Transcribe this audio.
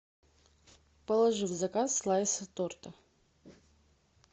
положи в заказ слайсы торта